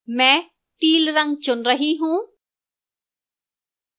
मैं teal रंग चुन रही हूं